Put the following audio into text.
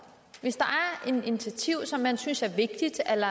hvis der er et initiativ som man synes er vigtigt eller